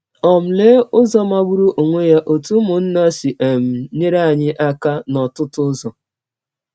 um Lee ụzọ magbụrụ ọnwe ya ‘ ọ̀tụ ụmụnna ’ si um nyere anyị aka n’ọtụtụ ụzọ!